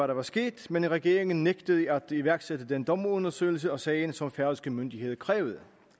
der var sket men regeringen nægtede at iværksætte den dommerundersøgelse af sagen som færøske myndigheder krævede